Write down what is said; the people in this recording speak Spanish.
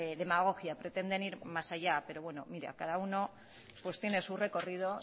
demagogia pretenden ir más allá pero bueno mire cada uno pues tiene su recorrido